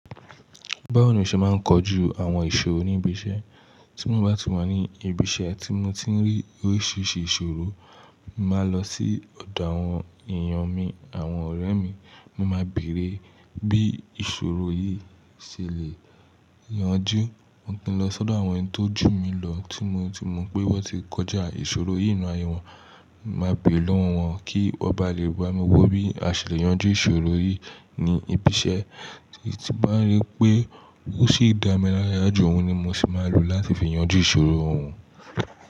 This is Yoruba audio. Báwo ni o ṣe máa ń kọ ju àwọn ìṣòro níbi iṣẹ́? Tí mo bá ti wa ní ibi iṣẹ́ tí mo ti ń rí oríṣiríṣi ìṣòro, màá lọ sí ọ̀dọ̀ àwọn èèyàn mi, àwọn ọ̀rẹ́ mi. Mo máa bèrè bí ìṣòro yìí ṣe lè yanjú. Mo pín lọ sọ́dọ̀ àwọn ẹni tó jù mí lọ tí mo tú mọ̀ pé wọ́n ti kọjá ìṣòro yìí nínú ayé wọn. Màá béèrè lọ́wọ́ wọn kí wọ́n bá lè bá mi wò bí a ṣe le yanjú ìṣòro yìí ní ibi iṣẹ́. Tí bá rí pé ó sì dá mi lára, yàjú òun ni mo sì máa lò láti fi yanjú ìṣòro òun.